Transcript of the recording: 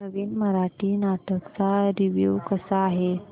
नवीन मराठी नाटक चा रिव्यू कसा आहे